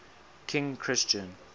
king christian